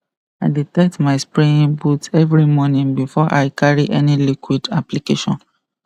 i dey tight my spraying boots every morning before i carry any liquid application